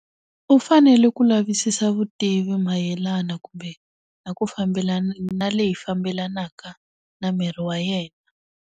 U fanele ku lavisisa vutivi mayelana kumbe, na ku fambelana na leyi fambelenaka na miri wa yena.